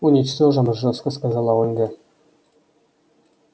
уничтожим жёстко сказала ольга